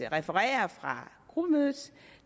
referere fra gruppemødet